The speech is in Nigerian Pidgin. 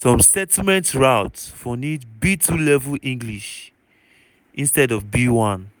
some settlement routes for need b2 level english instead of b1.